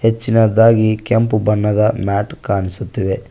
ಹೆಚ್ಚಿನದಾಗಿ ಕೆಂಪು ಬಣ್ಣದ ಮ್ಯಾಟ್ ಕಾಣಿಸುತ್ತಿವೆ.